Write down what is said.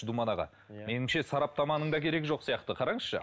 думан аға меніңше сараптаманың да керегі жоқ сияқты қараңызшы